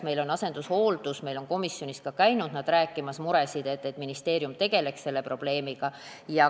Nad on käinud ka meil komisjonis rääkimas oma muredest ja sellest, et ministeerium peaks selle probleemiga tegelema.